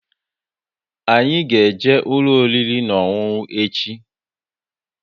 Anyị ga-eje ụlọ oriri na ọṅụṅụ echi!